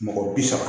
Mɔgɔ bi saba